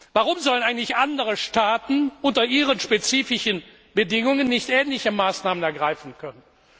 Warum sollen eigentlich andere Staaten unter ihren spezifischen Bedingungen nicht ähnliche Maßnahmen ergreifen können?